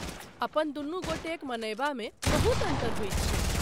अपन दुनू गोटेक मनयबा मे बहुत अन्तर होइत छैक ।